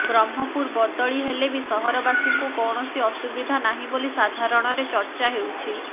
ବ୍ରହ୍ମପୁର ବଦଳି ହେଲେ ବି ସହରବାସୀଙ୍କୁ କୌଣସି ଅସୁବିଧା ନାହିଁ ବୋଲି ସାଧାରଣରେ ଚର୍ଚ୍ଚା ହେଉଛି